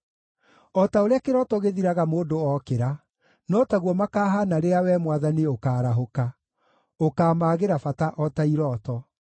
O ta ũrĩa kĩroto gĩthiraga mũndũ okĩra, no taguo makahaana rĩrĩa Wee Mwathani ũkaarahũka, ũkaamaagĩra bata o ta irooto.